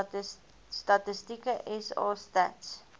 statistieke sa stats